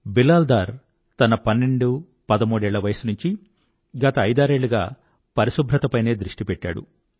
బిలాల్ డార్ తన పన్నెండుపదమూడేళ్ళ వయసు నుంచీ గత ఐదారేళ్ళుగా పరిశుభ్రతపైనే దృష్టి పెట్టాడు